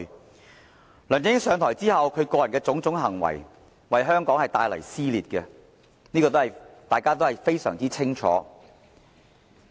自梁振英上台後，其個人的種種行為，皆為香港帶來撕裂，這是大家非常清楚的。